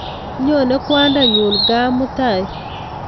Nyone kwaninyun gaa mutai